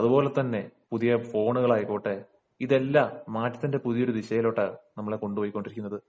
അതുപോലെതന്നെ പുതിയ ഫോണുകൾ ആയിക്കോട്ടേ ഇതെല്ലാം മാറ്റത്തിന്റെ പുതിയൊരു ദിശയിലേക്കാണ് നമ്മളെ കൊണ്ടുപോയിക്കൊണ്ടിരിക്കുന്നത്